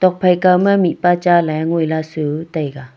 phai kaw ma mihpa cha ley ngoi lah su taiga.